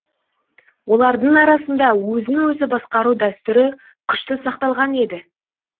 олардың арасында өзін өзі басқару дәстүрі күшті сақталған еді